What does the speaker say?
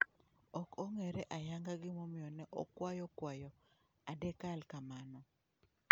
Ok ong'ere ayanga gimomiyo ne okwayo kwayo adekal kamano.